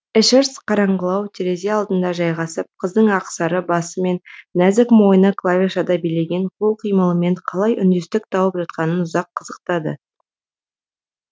эшерст қараңғылау терезе алдына жайғасып қыздың ақсары басы мен нәзік мойны клавишада билеген қол қимылымен қалай үндестік тауып жатқанын ұзақ қызықтады